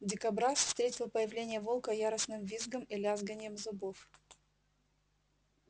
дикобраз встретил появление волка яростным визгом и лязганьем зубов